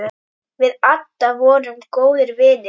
Við Adda vorum góðir vinir.